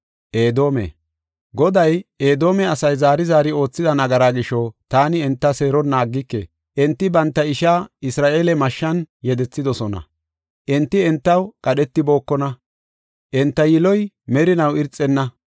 Goday, “Edoome asay zaari zaari oothida nagaraa gisho, taani enta seeronna aggike. Enti banta ishaa Isra7eele mashshan yedethidosona; enti entaw qadhetibookona; enta yiloy merinaw irxenna.